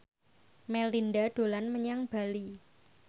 Melinda dolan menyang Bali